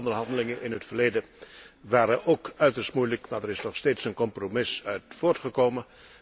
Alle onderhandelingen in het verleden waren ook uiterst moeilijk, maar er is nog steeds een compromis uit voortgekomen.